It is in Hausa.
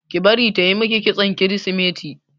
Ki bari tayi miki kitson kirisimeti!